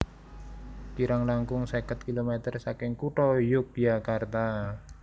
Kirang langkung seket kilometer saking kutha Yogyakarta